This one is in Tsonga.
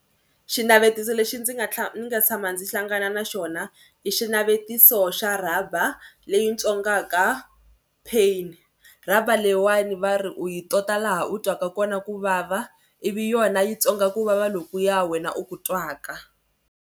Xinavetiso lexi ndzi nga ndzi nga tshama ndzi hlangana na xona i xinavetiso xa rhaba leyi ntswongaka pain. Rhaba leyiwani va ri u yi tota laha u twaka kona ku vava ivi yona yi ntswonga ku vava lokuya wena u ku twaka.